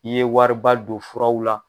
I ye wari ba don furaw la.